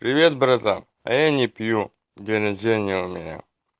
привет братан а я не пью день рождения у меня